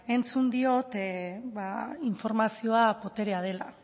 entzun diot informazio boterea dela